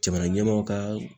Jamana ɲɛmaw kaa